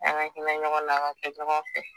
An ka hinɛ ɲɔgɔn na ka kɛ ɲɔgɔn fɛ